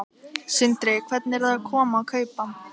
Sindri: Hvernig eru að koma og kaupa?